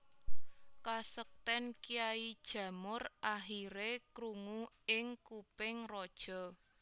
Kasekten Kyai Jamur akhire krungu ing kuping raja